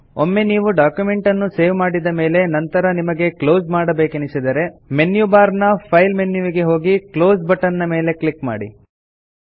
ಒಮ್ಮೆ ನೀವು ಡಾಕ್ಯುಮೆಂಟ್ ಅನ್ನು ಸೇವ್ ಮಾಡಿದ ಮೇಲೆ ನಂತರ ನಿಮಗೆ ಕ್ಲೋಸ್ ಮಾಡಬೇಕೆನಿಸಿದರೆ ಮೆನ್ಯು ಬಾರ್ ನ ಫೈಲ್ ಮೆನ್ಯುವಿಗೆ ಹೋಗಿ ಕ್ಲೋಸ್ ಬಟನ್ ಮೇಲೆ ಕ್ಲಿಕ್ ಮಾಡಿ